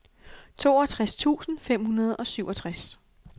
toogtres tusind fem hundrede og syvogtres